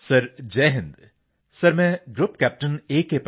GRP CPT sir Jai Hind sir ਮੈਂ group captain ਏ